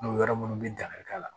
N'o yɔrɔ munnu bi dan kari k'a la